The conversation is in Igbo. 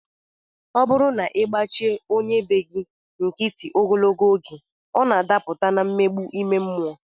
Ọ bụrụ na ị gbachi onye be gị nkịtị ogologo oge, ọ na-adapụta na mmegbu ime mmụọ